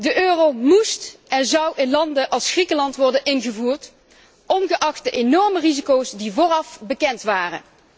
De euro moest en zou in landen als Griekenland worden ingevoerd, ongeacht de enorme risico's die vooraf bekend waren.